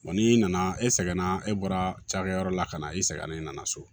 n'i nana e sɛgɛnna e bɔra cakɛyɔrɔ la ka na i sɛgɛnna i nana so